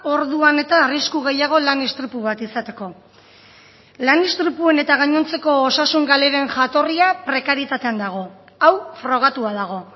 orduan eta arrisku gehiago lan istripu bat izateko lan istripuen eta gainontzeko osasun galeren jatorria prekarietatean dago hau frogatua dago